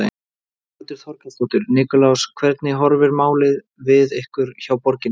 Þórhildur Þorkelsdóttir: Nikulás hvernig horfir málið við ykkur hjá borginni?